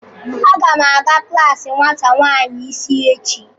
Aga m aga klaasi nwata nwanyị isi echi.